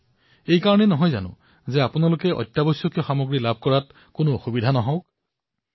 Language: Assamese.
কাৰ বাবে যাতে আপোনালোকে অত্যাৱশ্যকীয় সামগ্ৰীসমূহ লাভ কৰিব পাৰে